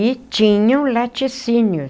E tinham laticínios.